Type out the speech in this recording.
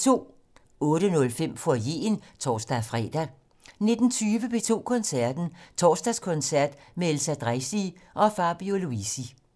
18:05: Foyeren (tor-fre) 19:20: P2 Koncerten - Torsdagskoncert med Elsa Dreisig og Fabio Luisi